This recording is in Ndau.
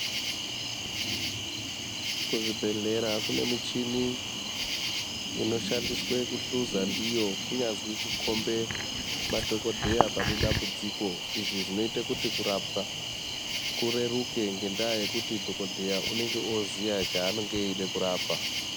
Kuzvibhedhlera kune michini inoshandiswa kuhluza ndiyo kunyazwi kukombe madhokodheya pane dambudziko izvi zvinoita kuti kurapwa kureruke ngendaa yekuti dhokodheya unenge oziya chaanenge echida kurapa.